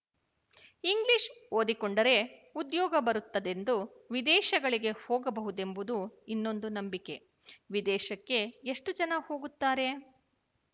English ಓದಿಕೊಂಡರೆ ಉದ್ಯೋಗ ಬರುತ್ತದೆಂದು ವಿದೇಶಗಳಿಗೆ ಹೋಗಬಹುದೆಂಬುದು ಇನ್ನೊಂದು ನಂಬಿಕೆ ವಿದೇಶಕ್ಕೆ ಎಷ್ಟು ಜನ ಹೋಗುತ್ತಾರೆ